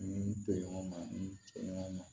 N toɲɔgɔnma ni n cɛɲɔgɔn ma